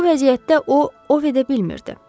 Bu vəziyyətdə o ov edə bilmirdi.